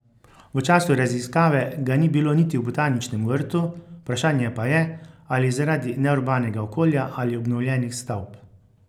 V času raziskave ga ni bilo niti v Botaničnem vrtu, vprašanje pa je, ali zaradi neurbanega okolja ali obnovljenih stavb.